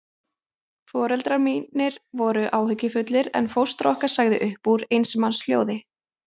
Foreldrar mínir voru áhyggjufullir, en fóstra okkar sagði upp úr eins manns hljóði